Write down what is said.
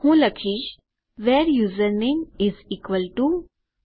હું લખીશ where username is equal to